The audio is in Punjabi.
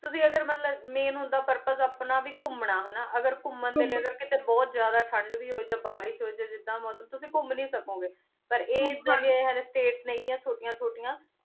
ਤੁਸੀਂ ਅਗਰ ਮਤਲਬ purpose ਆਪਣਾ ਵੀ ਘੂਮਨਾ ਅਗਰ ਘੁਮਾਣ ਦੇ ਲੈ ਅਗਰ ਬੋਹਤ ਜਿਆਦਾ ਠੰਡ ਵੀ ਹੋਈ ਤੇ ਬਾਰਿਸ਼ ਹੋਈ ਤੇ ਜਿਦਾਂ ਮੋਸਮ ਤੁਸੀਂ ਘੁਮ ਨਾਈ ਸਕੋ ਗੇ ਪਰ ਈਯ ਜਾਗੇ ਹਾਲੀ ਸ੍ਤਾਤੇਸ ਨਾਈ ਆਯ ਚੋਟਿਯ ਚੋਤਿਯਾਂ